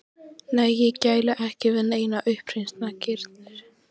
Nei, ég gæli ekki við neina uppreisnargirni.